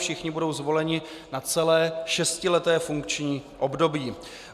Všichni budou zvoleni na celé šestileté funkční období.